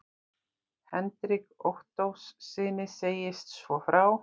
Hendrik Ottóssyni segist svo frá